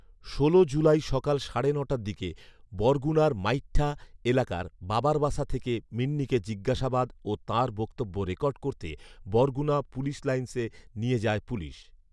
ষোল জুলাই সকাল সাড়ে নটার দিকে বরগুনার মাইঠা এলাকার বাবার বাসা থেকে মিন্নিকে জিজ্ঞাসাবাদ ও তাঁর বক্তব্য রেকর্ড করতে বরগুনা পুলিশ লাইনসে নিয়ে যায় পুলিশ